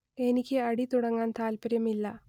എനിക്ക് അടി തുടങ്ങാൻ താല്പര്യം ഇല്ല